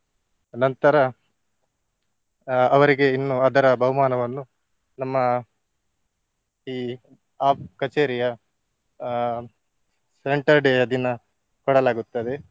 ನಂತರ ಅಹ್ ಅವರಿಗೆ ಇನ್ನು ಅದರ ಬಹುಮಾನವನ್ನು ನಮ್ಮ ಈ ಆ ಕಛೇರಿಯ ಅಹ್ centre day ಯ ದಿನ ಕೊಡಲಾಗುತ್ತದೆ.